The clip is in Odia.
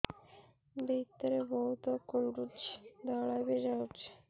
ଭିତରେ ବହୁତ କୁଣ୍ଡୁଚି ଧଳା ବି ଯାଉଛି